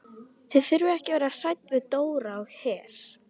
Þið þurfið ekki að vera hrædd við Dóra á Her.